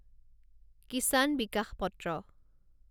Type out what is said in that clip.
কিচান বিকাশ পত্ৰ